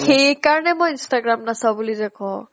সেইকাৰণে মই instagram নাচাও বুলি যে কও